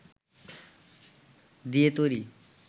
দিয়ে তৈরি